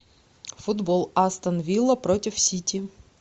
футбол астон вилла против сити